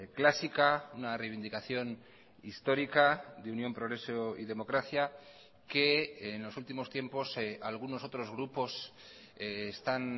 clásica una reivindicación histórica de unión progreso y democracia que en los últimos tiempos algunos otros grupos están